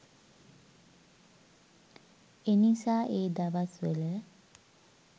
එනිසා ඒ දවස් වල